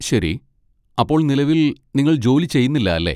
ശരി. അപ്പോൾ നിലവിൽ, നിങ്ങൾ ജോലി ചെയ്യുന്നില്ല, അല്ലേ?